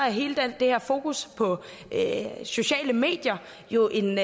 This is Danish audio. hele det her fokus på sociale medier jo en